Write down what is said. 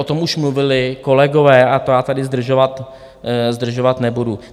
O tom už mluvili kolegové a to já tady zdržovat nebudu.